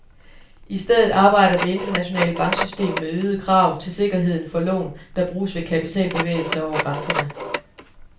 I stedet arbejder det internationale banksystem med øgede krav til sikkerheden for lån, der bruges ved kapitalbevægelser over grænserne.